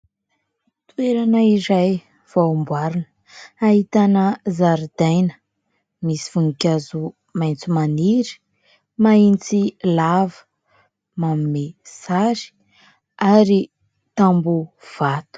Toerana iray vao amboarina, ahitana zaridaina misy voninkazo maitso maniry mahitsy lava, manome sary ary tamboho vato.